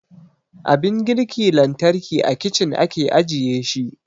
Abin girki lantarki a kicin ake ajiye shi